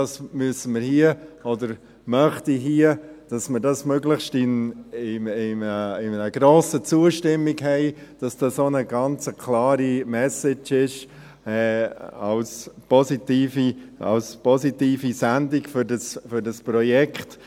Dies müssen wir hier, oder ich möchte, dass wir hier eine möglichst hohe Zustimmung haben, damit es eine ganz klare Message ist, als positive Sendung für dieses Projekt.